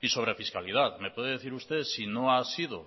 y sobre fiscalidad me puede decir usted si no ha sido